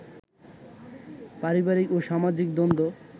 পারিবারিক ও সামাজিক দ্বন্দ্ব